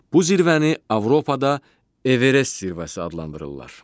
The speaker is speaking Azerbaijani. Bu zirvəni Avropada Everest zirvəsi adlandırırlar.